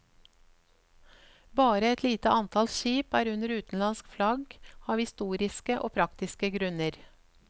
Bare et lite antall skip er under utenlandsk flagg av historiske og praktiske grunner.